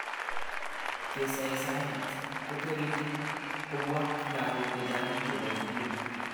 Kesaisai sig'ik kopun sirutiet ne nuach kotareti kopwa lakok chechang' chepo sukul